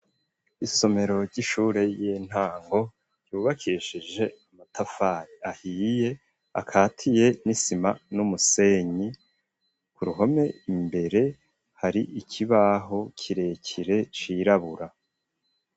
Isomero ry'ishure y'intango ryubakishije amatafari ahiye akatiye n'isima n'umusenyi ku ruhome imbere hari ikibaho kirekire cirabura.